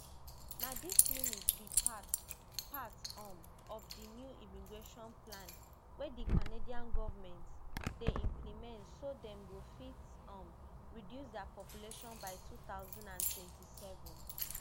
na dis limit be part part um of di new immigration plan wey di canadian govment dey implement so dem go fit um reduce dia population by two thousand and twenty-seven